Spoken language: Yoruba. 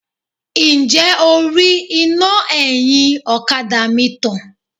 Ǹjẹ́ o rí iná ẹ̀yìn ọ̀kadà mi tàn?